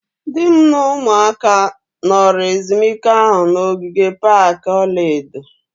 Di m na ụmụaka nọrọ ezumike ahụ na ogige pak ọla edo